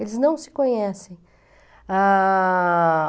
Eles não se conhecem. Ah...